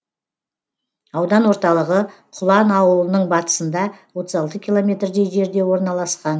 аудан орталығы құлан ауылының батысында отыз алты километрдей жерде орналасқан